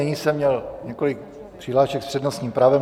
Nyní jsem měl několik přihlášek s přednostním právem.